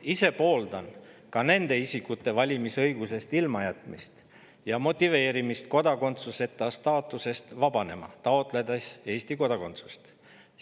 Ma ise pooldan ka nende isikute valimisõigusest ilmajätmist ja nende motiveerimist kodakondsuseta staatusest vabanema, taotledes Eesti kodakondsust,